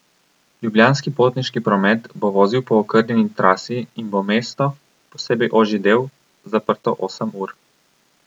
Ljubljanski potniški promet bo vozil po okrnjeni trasi in bo mesto, posebej ožji del, zaprto osem ur.